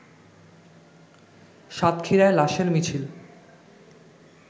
সাতক্ষীরায় লাশের মিছিল